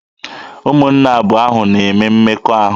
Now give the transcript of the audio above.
Ụmụnne abụọ ahụ ha na-eme mmekọahụ?